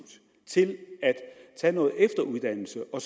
til at tage noget efteruddannelse og